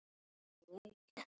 En af hverju Ísland?